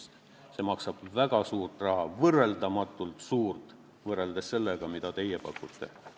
See läheb maksma väga palju raha, võrreldamatult rohkem võrreldes sellega, mida teie pakute.